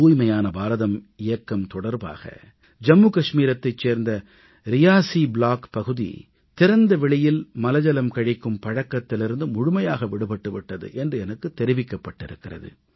தூய்மையான பாரதம் இயக்கம் தொடர்பாக ஜம்மு காஷ்மீரத்தைச் சேர்ந்த ரியாஸீ ப்ளாக் பகுதி திறந்த வெளியில் மலஜலம் கழிக்கும் பழக்கத்திலிருந்து முழுமையாக விடுபட்டு விட்டது என்று எனக்குத் தெரிவிக்கப்பட்டு இருக்கிறது